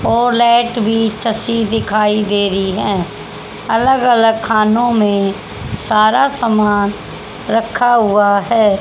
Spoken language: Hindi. और लाइट भी दिखाई दे रही है अलग अलग खानों में सारा सामान रखा हुआ है।